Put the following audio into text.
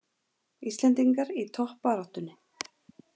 Íslendingar í toppbaráttunni